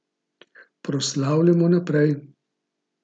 Proslavljajmo naprej.